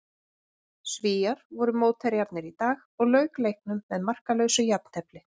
Svíar voru mótherjarnir í dag og lauk leiknum með markalausu jafntefli.